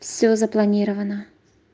всё запланировано